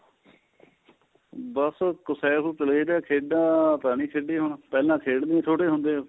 ਬੱਸ ਖੇਡਾ ਤਾਂ ਨੀਂ ਖੇਡਿਆ ਹੁਣ ਪਹਿਲਾਂ ਖੇਡਿਆ ਛੋਟੇ ਹੁੰਦਿਆ